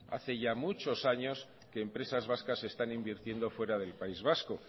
hace ya muchos años que empresas vascas están invirtiendo fuera del país vasco